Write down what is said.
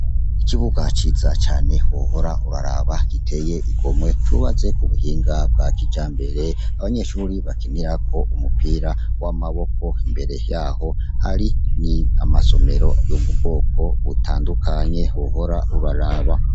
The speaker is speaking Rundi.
Ikibuga ciza cane wohora uraraba giteye igomwe, cubatse kubuhinga bwakijambere, abanyeshure bakinirako umupira w’amaboko, mbere yaho hari ni amasomero yo mu bwoko butandukanye wohora uraraba.